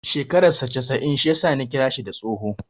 Shekarar saa casa'in shi ya sa Ni kira shi da tsoho.